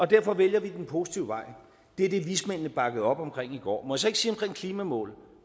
derfor vælger vi den positive vej og det er det vismændene bakkede op omkring i går må jeg så ikke sige omkring klimamål